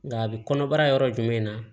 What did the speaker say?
Nka a bi kɔnɔbara yɔrɔ jumɛn na